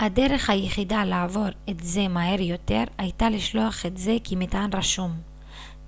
הדרך היחידה לעבור את זה מהר יותר הייתה לשלוח את זה כמטען רשום